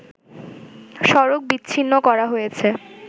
সড়ক বিচ্ছিন্ন করা হয়েছে